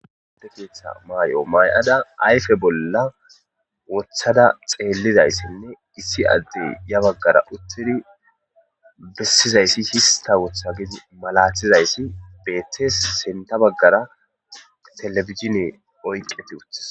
Timirte keetha mayo mayada ayfe bolla woththada xeellizaysa issi addey yaa baggara uttidi bessizaysi hista wotha giidi malaatizaysi sintha baggara telebijlzhine oyqi uttides.